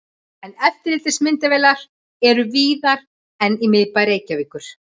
En eftirlitsmyndavélar eru víðar en í miðbæ Reykjavíkur.